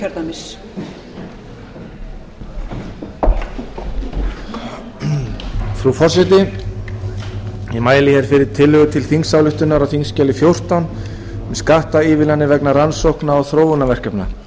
frú forseti ég mæli fyrir tillögu til þingsályktunar á þingskjali fjórtán um skattaívilnanir vegna rannsókna og þróunarverkefna